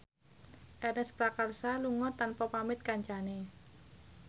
Ernest Prakasa lunga tanpa pamit kancane